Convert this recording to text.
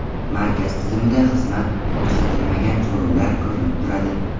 Markaz tizimida xizmat ko‘rsatilmagan so‘rovlar ko‘rinib turadi.